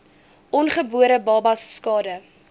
ongebore babas skade